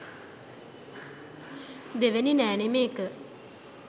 දෙවැනි නෑනේ මේක